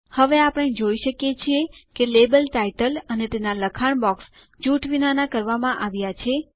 હવે આપણે જોઈ શકીએ છીએ કે લેબલ ટાઇટલ અને તેના લખાણ બોક્સ જૂથ વિનાના કરવામાં આવ્યા છે